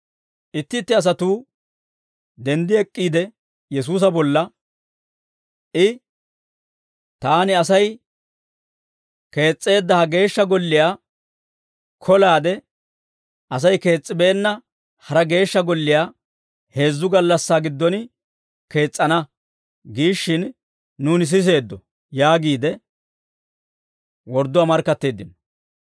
Itti itti asatuu denddi ek'k'iide Yesuusa bolla, «I, ‹Taani Asay kees's'eedda ha Geeshsha Golliyaa kolaade, Asay kees's'ibeenna hara Geeshsha Golliyaa heezzu gallassaa giddon kees's'ana› giishshin, nuuni siseeddo» yaagiide wordduwaa markkatteeddino.